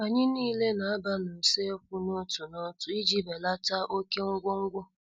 Anyị nile na- aba n' uso ekwu n' otu n' otu iji belata oké ngwo ngwo.